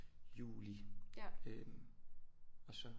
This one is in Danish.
Juli øh og så